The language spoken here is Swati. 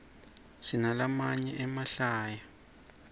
sinalamaye emahlaya